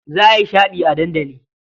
Za a yi shaɗi a dandali.